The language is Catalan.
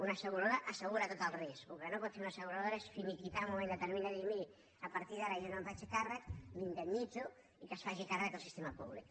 una asseguradora assegura tot el risc el que no pot fer una asseguradora és finiquitar en un moment determinat i dir miri a partir d’ara jo no me’n faig càrrec l’indemnitzo i que se’n faci càrrec el sistema públic